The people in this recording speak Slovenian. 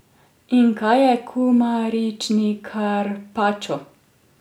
In kaj je kumarični karpačo?